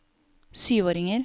syvåringer